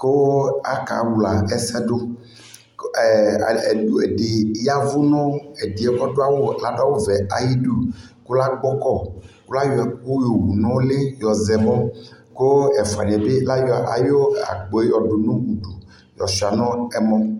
kʋ akawla ɛsɛ dʋ Ɛɛ ɛdι yavu nʋ ɛdiyɛ mʋ ɔdu awuvɛ yɛ ayʋudu kʋ lagbɔkɔ kʋ layɔ ɛkʋ yowu nʋ uli yɔzɛ kʋ ɛfuani yɛ bι layɔ akpoe yɔdʋ nʋ udu yɔtsua nʋ ɛmɔ